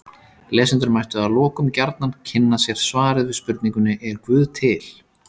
Lesendur mættu að lokum gjarnan kynna sér svarið við spurningunni Er guð til?